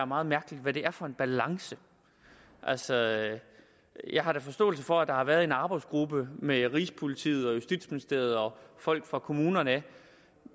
meget mærkeligt hvad det er for en balance altså jeg har da forståelse for at der har været en arbejdsgruppe med rigspolitiet og justitsministeriet og folk fra kommunerne